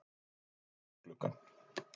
Lít út um gluggann.